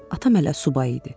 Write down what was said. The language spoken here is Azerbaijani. Atam hələ subay idi.